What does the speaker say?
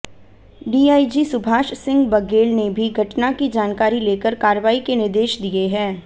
DIG Subhash Singh Baghel ने भी घटना की जानकारी लेकर कार्रवाई के निर्देश दिए हैं